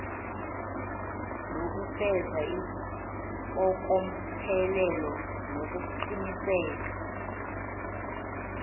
nokufeza impokophelelo nokuqiniseka